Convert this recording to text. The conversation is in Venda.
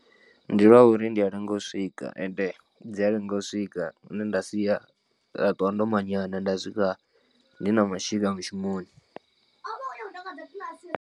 Ndi lwa uri ndi a lenga u swika and dzi a lenga u swika hune nda sia nda ṱuwa ndo manyana nda swika ndi na mashika mushumoni.